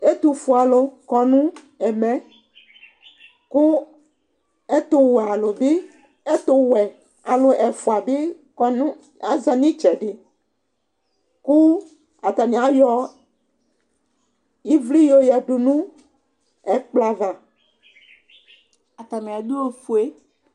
ɛtofue alo kɔ no ɛmɛ kò ɛtowɛ alo bi ɛtowɛ alo ɛfua bi kɔ no aza n'itsɛdi kò atani ayɔ ivli y'oyadu no ɛkplɔ ava atani ado ofue